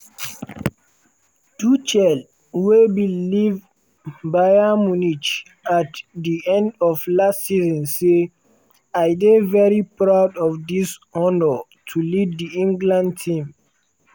tuchel wey bin leave bayern munich at di end of last season say: "i dey very proud for dis honour to lead di england team.